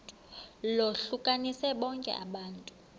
lohlukanise bonke abantu